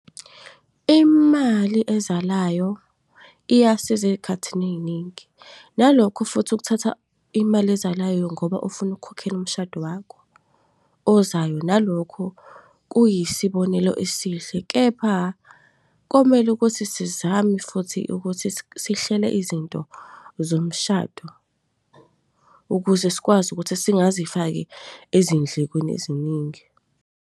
Imali ezalayo, iyasiza ey'khathini eningi. Nalokhu futhi ukuthatha imali ezalayo ngoba ufuna ukukhokhela umshado wakho ozayo, nalokhu kuyisibonelo esihle. Kepha, komele ukuthi sizame futhi ukuthi sihlele izinto zomshado ukuze sikwazi ukuthi singazifaki ezindlekweni eziningi.